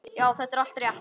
Já, þetta er allt rétt.